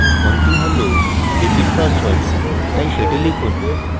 tঅন্তিম হল repeat password তাই সেটি লিখুন